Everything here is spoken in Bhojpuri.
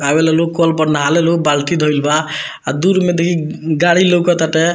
आवे ला लोग कल पर नाहाले लोग बाल्टी धईल बा आ दूर में देखि गाड़ी लउकटाते।